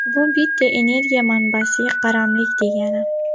Bu bitta energiya manbasiga qaramlik degani.